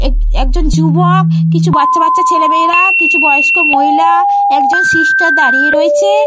এক একজন যুবক কিছু বাচ্চা-বাচ্চা ছেলেমেয়েরা কিছু বয়স্ক মহিলা একজন সিস্টার দাঁড়িয়ে রয়েছে।